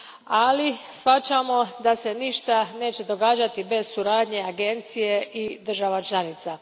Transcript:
Ali, shvaćamo da se ništa neće događati bez suradnje agencije i država članica.